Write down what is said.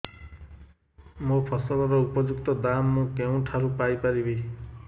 ମୋ ଫସଲର ଉପଯୁକ୍ତ ଦାମ୍ ମୁଁ କେଉଁଠାରୁ ପାଇ ପାରିବି